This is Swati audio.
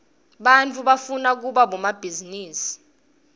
baityfu bafura kiba bodomabhizirusi